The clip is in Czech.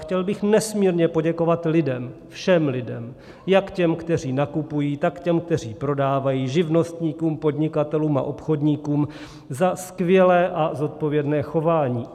Chtěl bych nesmírně poděkovat lidem, všem lidem, jak těm, kteří nakupují, tak těm, kteří prodávají, živnostníkům, podnikatelům a obchodníkům za skvělé a zodpovědné chování.